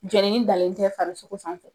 Jenini danen tɛ farisogo fan fɛ.